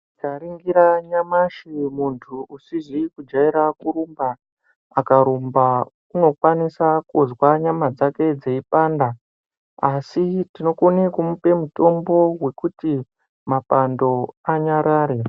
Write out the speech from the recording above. Tikaningira nyamashi muntu usiizi kujaira kurumba akarumba aunokwanisa kunzwa nyama dzake dzeipanda asi tinokona kumupa mutombo wekuti mapando anyarare.